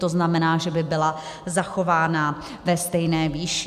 To znamená, že by byla zachována ve stejné výši.